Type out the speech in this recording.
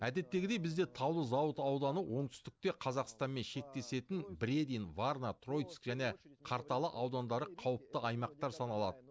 әдеттегідей бізде таулы зауыт ауданы оңтүстікте қазақстанмен шектесетін бредин варна троицк және қарталы аудандары қауіпті аймақтар саналад